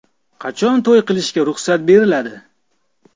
Qachon to‘y qilishga ruxsat beriladi?